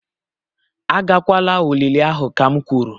Agakwala olili ahụ kam kwuru!